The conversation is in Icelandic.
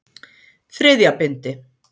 Þriðja bindi.